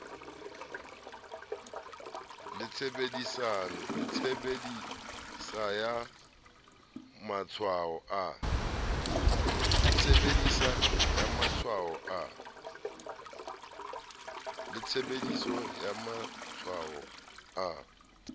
le tshebediso ya matshwao a